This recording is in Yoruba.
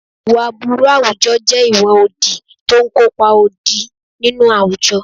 Ìwà aburú àwùjọ jẹ́ ìwà òdì tó ń kópa òdì nínú àwùjọ.